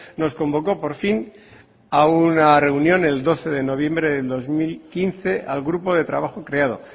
nos convocó por fin a una reunión el doce de noviembre del dos mil quince al grupo de trabajo creado